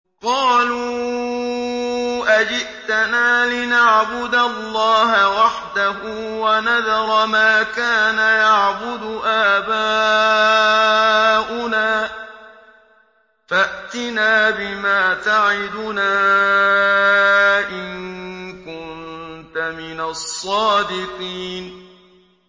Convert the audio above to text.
قَالُوا أَجِئْتَنَا لِنَعْبُدَ اللَّهَ وَحْدَهُ وَنَذَرَ مَا كَانَ يَعْبُدُ آبَاؤُنَا ۖ فَأْتِنَا بِمَا تَعِدُنَا إِن كُنتَ مِنَ الصَّادِقِينَ